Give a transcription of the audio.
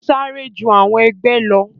Sáré ju àwọn ẹgbẹ lọ.